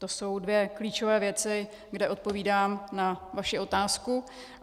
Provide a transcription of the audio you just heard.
To jsou dvě klíčové věci, kde odpovídám na vaši otázku.